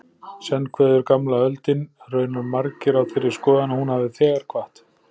Senn kveður gamla öldin, raunar margir á þeirri skoðun að hún hafi þegar kvatt.